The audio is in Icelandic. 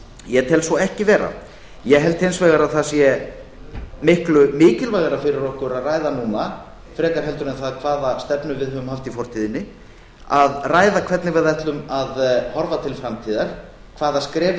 ég tel svo ekki vera ég held hins vegar að það sé miklu mikilvægara fyrir okkur að ræða núna frekar heldur en það hvaða stefnu við höfum haft í fortíðinni að ræða hvernig við ætlum að horfa til framtíðar hvaða skref við